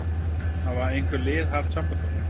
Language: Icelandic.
Hafa einhver lið haft samband við þig?